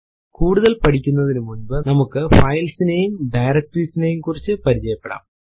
കൂടുതൽ പഠിക്കുനതിനുമുന്പു നമുക്ക് ഫൈൽസ് നെയും ഡയറക്ടറീസ് യെക്കുറിച്ചും പരിചയപെടാം